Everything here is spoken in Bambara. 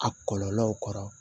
A kɔlɔlɔw kɔrɔ